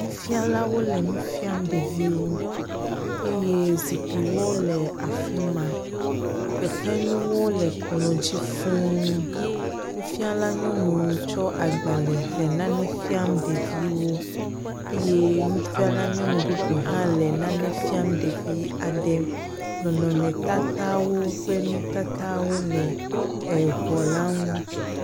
Nufialawo le nu fiam ɖeviwo eye zikpiwo le afi ma fefenuwo le kplɔ̃ dzi fũu. Nufiala nyɔnu tsɔ agbalẽ le nane fiam ɖeviwo eye nufiala nyɔnu bubu hã le nane fiam ɖevi aɖe. Nɔnɔmetatawo kple nutatawo le eŋɔla ŋu.